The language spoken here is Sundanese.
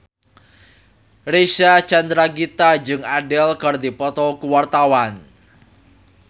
Reysa Chandragitta jeung Adele keur dipoto ku wartawan